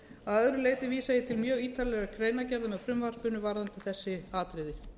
að öðru leyti vísa ég til mjög ítarlegrar greinargerðar með frumvarpinu varðandi þetta atriði